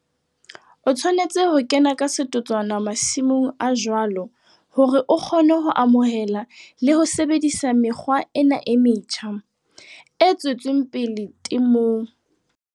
O tshwanetse ho kena ka setotswana masimong a jwalo hore o kgone ho amohela le ho sebedisa mekgwa ena e metjha, e tswetseng pele temong.